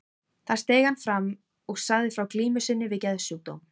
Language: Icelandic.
Þar steig hann fram og sagði frá glímu sinni við geðsjúkdóm.